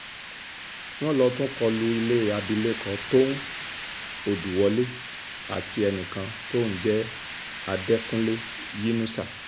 wọ́n lọ tún kọ lu ilé abilékọ tóun òdùwọlé àti ẹnìkan tó ń jẹ́ àdẹkùnlé yínusà